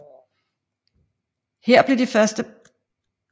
Her blev de første partier grundlagt i disse år